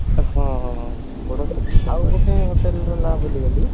ହଁ ଆଉ ଗୋଟେ hotel ର ନାଁ ଭୁଲି ଗଲି